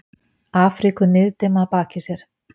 Afríku niðdimma að baki sér.